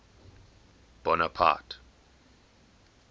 bonaparte